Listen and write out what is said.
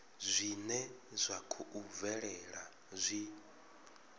zwine zwa khou bvelela zwi